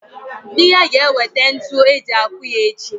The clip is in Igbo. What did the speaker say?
Dị ya ga-ewete ntu eji akụ ya echi.